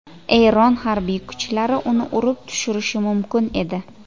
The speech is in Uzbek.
Eron harbiy kuchlari uni urib tushirishi mumkin edi.